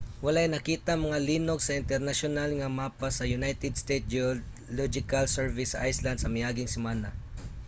walay nakitang mga linog sa internasyonal nga mapa sa united states geological survey sa iceland sa miaging semana